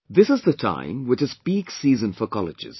This is the time which is Peak season for colleges